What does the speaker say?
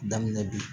Daminɛ bi